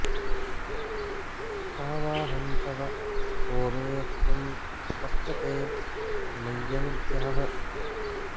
का वाऽहं तव को मे त्वं कश्च ते मय्यनुग्रहः